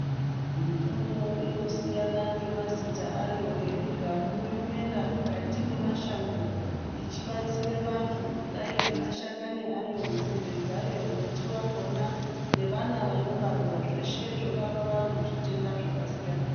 Mitombo inosiyana ngemazita ayo yemigamu yomera mukati mwemashango ichibatsira vantu kudai ngemashakani ayo, nzinde dzayo, muti wakona nevana vanobarwa zveshe zvorapa vantu zvitenda zvakasiyana siyana.